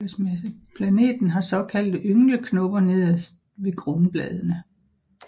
Planten har såkaldte yngleknopper nederst ved grundbladene